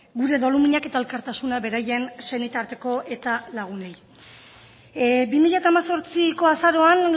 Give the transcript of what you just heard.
gure doluminak eta elkartasuna beraien senitarteko eta lagunei bi mila hemezortziko azaroan